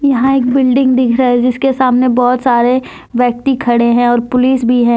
यहां एक बिल्डिंग दिख रहा है जिसके सामने बहोत सारे व्यक्ति खड़े हैं और पुलिस भी है।